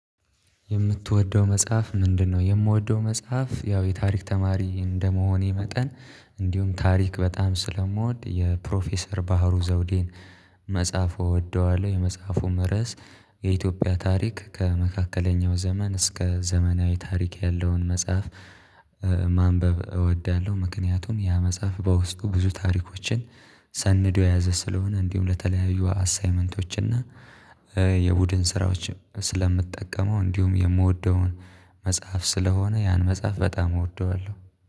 የምትወደው መጽሐፍ ምንድነው? የምወደው መጽሐፍ ያው የታሪክ ተማሪ እንደመሆኔ መጠን እንዲሁም ታሪክ በጣም ስለምወድ የፕሮፌሰር ባህሩ ዘውዴን። መጽሐፉ እወደዋለሁ የመጽሐፉ ርዕስ የኢትዮጵያ ታሪክ ከመካከለኛው ዘመን እስከ ዘመናዊ ታሪክ ያለውን መጽሐፍ። ማንበብ እወዳለሁ ምክንያቱም ያ መጽሐፍ በውስጡ ብዙ ታሪኮችን ሰንደው የያዘ ስለሆነ። እንዲሁም ለተለያዩ አሳይመንቶች እና የቡድን ስራዎች ስለምትጠቀመው እንዲሁም የምወደውን መጽሐፍ ስለሆነ ያን መጽሐፍ በጣም እወደዋለሁ።